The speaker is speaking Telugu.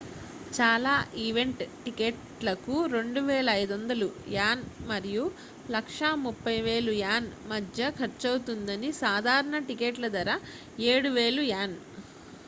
చాలా ఈవెంట్ టిక్కెట్లకు 2,500 యాన్ మరియు,130,000 యాన్ మధ్య ఖర్చవుతుందని సాధారణ టిక్కెట్ల ధర 7,000 యాన్